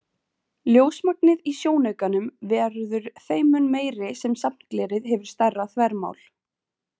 Ljósmagnið í sjónaukanum verður þeim mun meiri sem safnglerið hefur stærra þvermál.